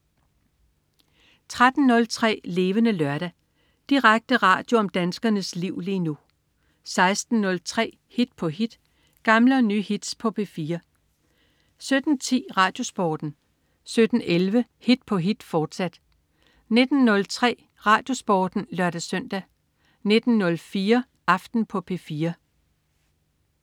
13.03 Levende Lørdag. Direkte radio om danskernes liv lige nu 16.03 Hit på hit. Gamle og nye hits på P4 17.10 RadioSporten 17.11 Hit på hit, fortsat 19.03 RadioSporten (lør-søn) 19.04 Aften på P4